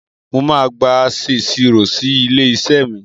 Mo máa gba aṣèṣirò si ilé-iṣẹ́ mi.